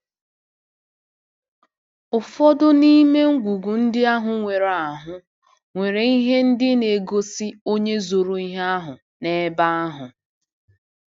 Ụfọdụ n’ime ngwugwu ndị ahụ nwere ahụ nwere ihe ndị na-egosi onye zoro ihe ahụ n’ebe ahụ.